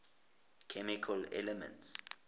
chemical elements